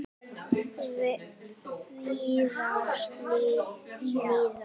Víðars niðja.